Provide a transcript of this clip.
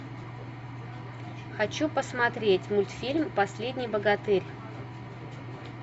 хочу посмотреть мультфильм последний богатырь